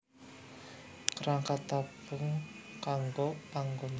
Kerangka tabung kanggo panggonan ngadeg